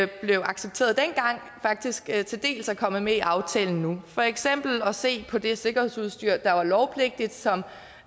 blev accepteret dengang faktisk til dels er kommet med i aftalen nu for eksempel at se på det sikkerhedsudstyr der var lovpligtigt som